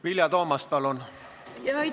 Vilja Toomast, palun!